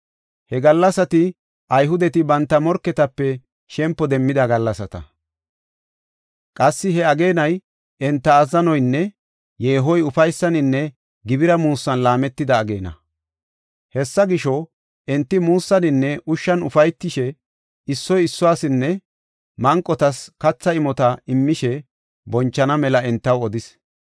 He gallasati Ayhudeti banta morketape shempo demmida gallasata. Qassi he ageenay enta azzanoynne yeehoy ufaysaninne gibira muussan laametida ageena. Hessa gisho, enti muussaninne ushshan ufaytishe, issoy issuwasinne manqotas katha imota immishe bonchana mela entaw odis.